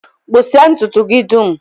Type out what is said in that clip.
Kpụsịa ntụtụ gị dum!